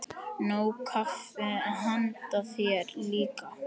Nóg kaffi handa þér líka.